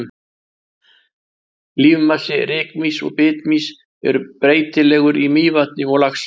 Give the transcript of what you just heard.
Lífmassi rykmýs og bitmýs er breytilegur í Mývatni og Laxá.